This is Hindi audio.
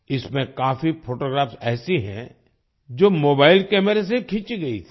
इसमें काफी फोटोग्राफ ऐसी हैं जो मोबाईल कैमरे से खींची गई थी